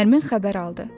Nərmin xəbər aldı: